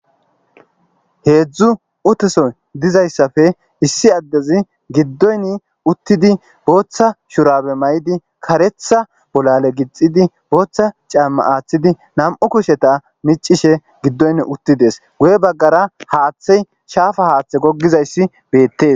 Heedzdzu uteso dizayssafe issi addezi giddoyni uttidi booththa shurabe may7idi karetha bolale gixidi booththa caamma aaththidi nam,u kusheta micishe giddoyn uttides guye baggara haaththey shaafa haaththe gogizayssi beettes.